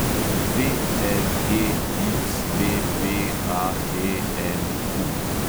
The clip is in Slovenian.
VLEXVPATNQ